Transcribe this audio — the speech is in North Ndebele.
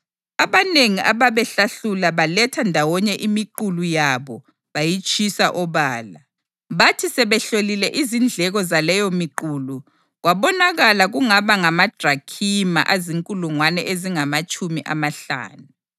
Abanengi ababehlahlula baletha ndawonye imiqulu yabo bayitshisa obala. Bathi sebehlolile izindleko zaleyomiqulu kwabonakala kungaba ngamadrakhima azinkulungwane ezingamatshumi amahlanu.